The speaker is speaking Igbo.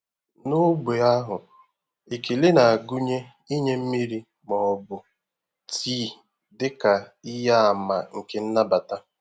N'ógbè ahụ, ekele na-agụnye inye mmiri ma ọ bụ tii dị ka ihe àmà nke nnabata.